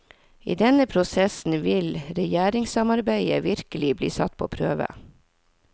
I denne prosessen vil regjeringssamarbeidet virkelig bli satt på prøve.